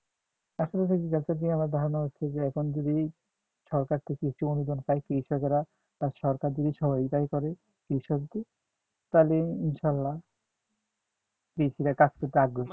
আমার ধারণা হচ্ছে যে এখন যদি সরকার থেকে কিছু অনুদান পায় কৃষকরা সরকার যদি সহযোগিতা করে কৃষকদের তাহলে ইনশাআল্লাহ কাজ করতে আগ্রহী হবে